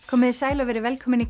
komiði sæl og verið velkomin í